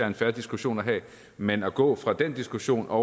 en fair diskussion at have men at gå fra den diskussion og